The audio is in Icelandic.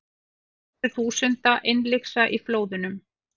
Hundruð þúsunda innlyksa í flóðunum